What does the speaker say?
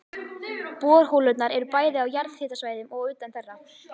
Borholurnar eru bæði á jarðhitasvæðum og utan þeirra.